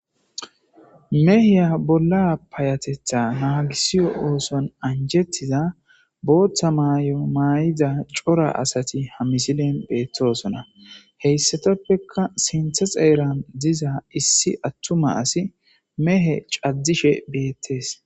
Meha bolla payateththan anjetida boththa mayo maydi cora asat ha missileza bettosona. Hesappekka sinththen xera diza issi atuma asi betes.